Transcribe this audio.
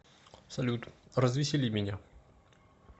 салют развесели меня